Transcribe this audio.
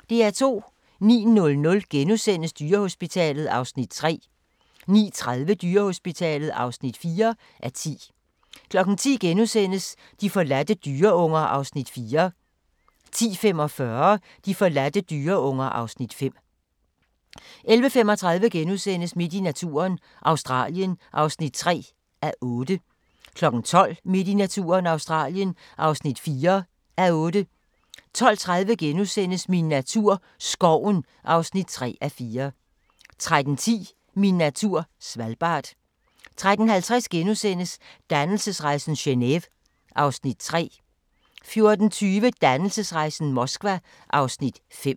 09:00: Dyrehospitalet (3:10)* 09:30: Dyrehospitalet (4:10) 10:00: De forladte dyreunger (Afs. 4)* 10:45: De forladte dyreunger (Afs. 5) 11:35: Midt i naturen – Australien (3:8)* 12:00: Midt i naturen – Australien (4:8) 12:30: Min natur - skoven (3:4)* 13:10: Min natur - Svalbard 13:50: Dannelsesrejsen - Geneve (Afs. 4)* 14:20: Dannelsesrejsen - Moskva (Afs. 5)